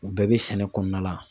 U bɛɛ bɛ sɛnɛ kɔnɔna la.